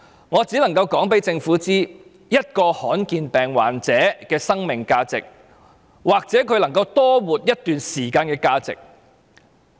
我只能夠告訴政府，一名罕見疾病患者的生命價值，或者他能夠多活一段時間的價值。